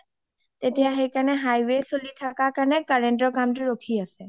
তেতিয়া highway চলি থকা কাৰণে current ৰ কামটো ৰখী আছে